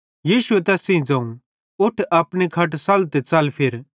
यीशुए तैस सेइं ज़ोवं उठ अपनी खट सल्ल ते च़ल फिर